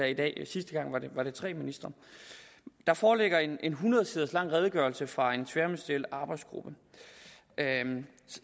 i dag sidste gang var det tre ministre der foreligger en en hundrede sider lang redegørelse fra en tværministeriel arbejdsgruppe